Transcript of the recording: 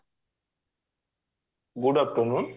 good afternoon